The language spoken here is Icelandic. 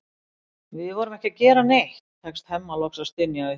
Við vorum ekki að gera neitt, tekst Hemma loks að stynja upp.